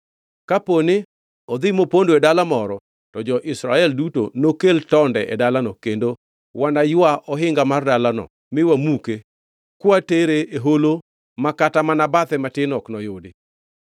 Kaponi odhi mopondo e dala moro, to jo-Israel duto nokel tonde e dalano kendo wanaywa ohinga mar dalano mi wamuke kwatere e holo ma kata mana bathe matin ok noyudi.”